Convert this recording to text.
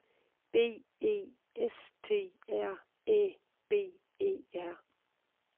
B E S T R Æ B E R